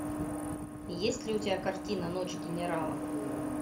есть ли у тебя картина ночь генералов